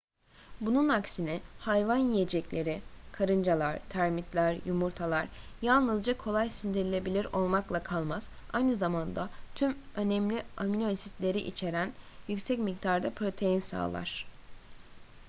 bunun aksine hayvan yiyecekleri karıncalar termitler yumurtalar yalnızca kolay sindirilebilir olmakla kalmaz aynı zamanda tüm önemli aminoasitleri içieren yüksek miktarda protein sağlar